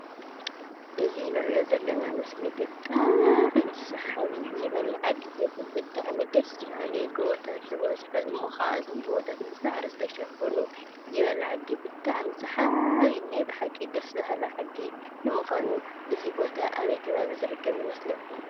እዚ ንሪኦ ዘለና ምስሊ ብጣዕሚ ሰሓቢ ይበል ዓዲ ዘብል ብጣዕሚ ደስ በሃሊ ጎቦታት ዝበዝሖ እሞ ከዓ እቶም ጎቦታት ብሳዕሪ ዝተሸፈኑ ይበል ዓዲ ብጣዕሚ ሰሓቢ ናይ ብሓቂ ደሰ በሃሊ ዓዲ ንምዃኑ እዚ ቦታ ኣበይ ከባቢ ዝርከብ ይመስለኩም?